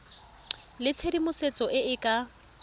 le tshedimosetso e e ka